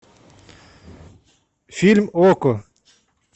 фильм окко